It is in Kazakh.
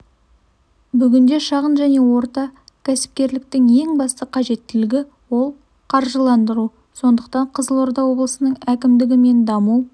бүгінде шағын және орта кәсіпкерліктің ең басты қажеттілігі ол қаржыландыру сондықтан қызылорда облысының әкімдігі мен даму